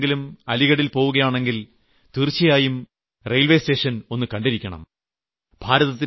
നിങ്ങളും എപ്പോഴെങ്കിലും അലീഗഡിൽ പോവുകയാണെങ്കിൽ തീർച്ചയായും സ്റ്റേഷൻ ഒന്ന് കണ്ടിരിക്കണം